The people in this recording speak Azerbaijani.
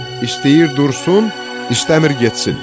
İstəyir dursun, istəmir getsin."